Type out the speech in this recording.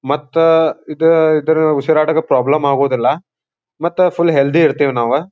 ಮತ್ತ ಇದು ಇದರ ಹುಸಿರಾಟದ ಪ್ರಾಬ್ಲಮ್ ಆಗುವುದಿಲ್ಲ ಮತ್ತೆ ಫುಲ್ ಹೇಳ್ಧ್ಯ್ ಇರ್ತಿವಿ ನಾವು.